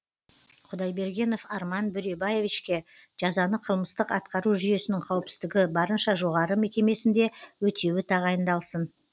құдайбергенов арман бөребаевичке жазаны қылмыстық атқару жүйесінің қауіпсіздігі барынша жоғары мекемесінде өтеуі тағайындалсын